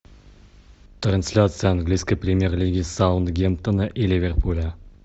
трансляция английской премьер лиги саутгемптона и ливерпуля